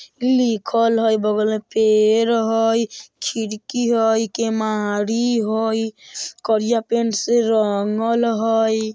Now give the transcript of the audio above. लिखल हई बगल में पेड़ हइ खिरकी हइ केमहारी हइ करिया पेंट से रंगल हइ।